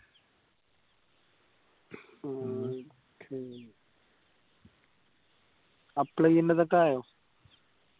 apply ചെയ്യേണ്ടതൊക്കെ ആയോ